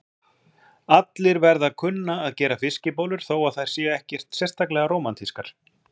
Allir verða að kunna að gera fiskibollur þó að þær séu ekkert sérstaklega rómantískar.